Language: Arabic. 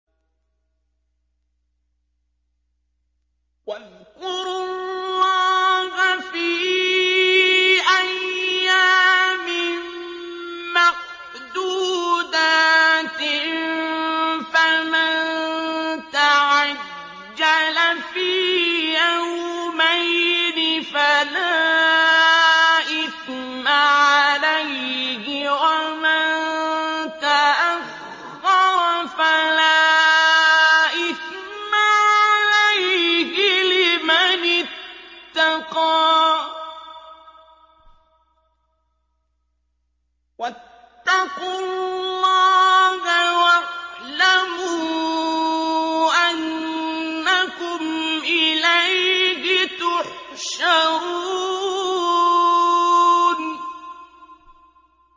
۞ وَاذْكُرُوا اللَّهَ فِي أَيَّامٍ مَّعْدُودَاتٍ ۚ فَمَن تَعَجَّلَ فِي يَوْمَيْنِ فَلَا إِثْمَ عَلَيْهِ وَمَن تَأَخَّرَ فَلَا إِثْمَ عَلَيْهِ ۚ لِمَنِ اتَّقَىٰ ۗ وَاتَّقُوا اللَّهَ وَاعْلَمُوا أَنَّكُمْ إِلَيْهِ تُحْشَرُونَ